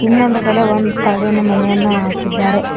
ಇನ್ನೊಂದು ಕಡೆ ಒಂದು ತಗಡಿನ ಮನೆಯನ್ನ ಹಾಕಿದ್ದಾರೆ.